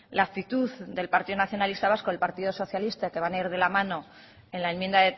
la actitud del partido nacionalista vasco y el partido socialista que van a ir de la mano en la enmienda